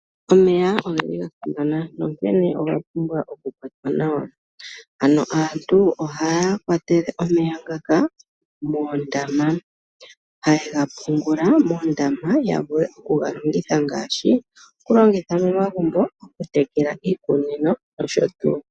Omeya ogeli gasimana, nonkene oyapumbwa okukwatwa nawa. Ano aantu ohaya tula omeya ngaka moondama. Haye ga pungula moondama, ya vule okugalongitha ngaashi momagumbo, okutekela iikunino nosho tuu.